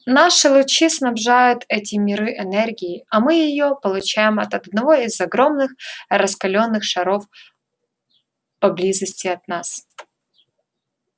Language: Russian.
наши лучи снабжают эти миры энергией а мы её получаем от одного из огромных раскалённых шаров поблизости от нас